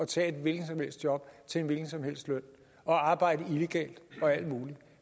tage et hvilket som helst job til en hvilken som helst løn og arbejde illegalt og alt muligt